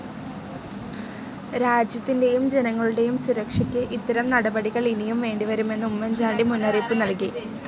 രാജ്യത്തിൻ്റെയും ജനങ്ങളുടെയും സുരക്ഷയ്ക്ക് ഇത്തരം നടപടികൾ ഇനിയും വേണ്ടി വരുമെന്നു ഉമ്മൻ ചാണ്ടി മുന്നേറിയിപ്പു് നൽകി.